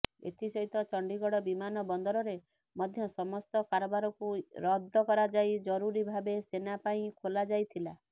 ଏଥିସହିତ ଚଣ୍ଡିଗଡ଼ ବିମାନବନ୍ଦରରେ ମଧ୍ୟ ସମସ୍ତ କାରବାରକୁ ରଦ୍ଦ କରାଯାଇ ଜରୁରୀ ଭାବେ ସେନା ପାଇଁ ଖୋଲାଯାଇଥିଲା